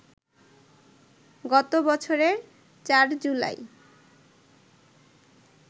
গত বছরের ৪ জুলাই